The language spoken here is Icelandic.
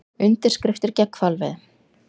Undirskriftir gegn hvalveiðum